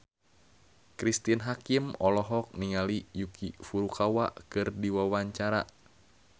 Cristine Hakim olohok ningali Yuki Furukawa keur diwawancara